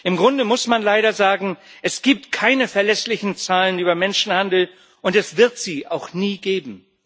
Im Grunde muss man leider sagen Es gibt keine verlässlichen Zahlen über Menschenhandel, und es wird sie auch nie geben.